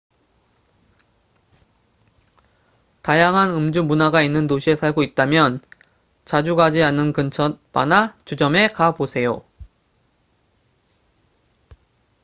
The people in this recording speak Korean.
다양한 음주 문화가 있는 도시에 살고 있다면 자주 가지 않은 근처 바나 주점에 가보세요